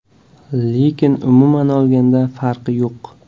Lekin umuman olganda farqi yo‘q.